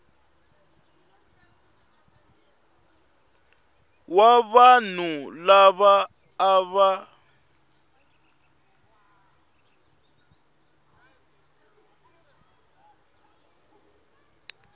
wa vanhu lava a va